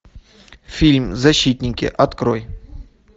фильм защитники открой